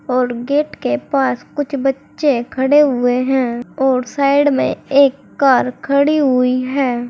और गेट के पास कुछ बच्चे खड़े हुए हैं और साइड में एक कार खड़ी हुई है।